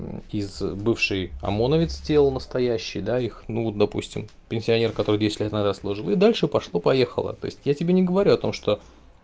из бывший омоновец тело настоящее да их ну допустим пенсионер который десять лет назад служил и дальше пошло поехало то есть я тебе не говорю о том что